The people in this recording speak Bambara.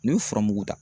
N'i ye furamuguda